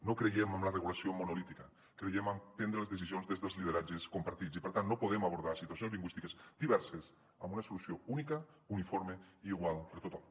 no creiem en la regulació monolítica creiem en prendre les decisions des dels lideratges compartits i per tant no podem abordar situacions lingüístiques diverses amb una solució única uniforme i igual per a tothom